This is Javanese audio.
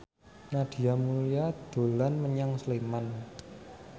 Nadia Mulya dolan menyang Sleman